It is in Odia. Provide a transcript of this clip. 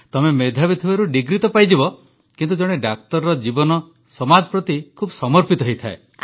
ତମେ ମେଧାବୀ ଥିବାରୁ ଡିଗ୍ରୀ ତ ପାଇଯିବ ଝିଅ କିନ୍ତୁ ଜଣେ ଡାକ୍ତରର ଜୀବନ ସମାଜ ପ୍ରତି ଖୁବ୍ ସମର୍ପିତ ହୋଇଥାଏ